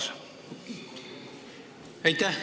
Aitäh!